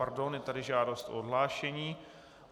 Pardon, je tady žádost o odhlášení.